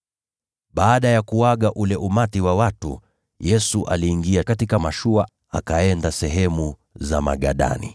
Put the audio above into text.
Baada ya kuaga ule umati wa watu, Yesu aliingia katika mashua, akaenda sehemu za Magadani.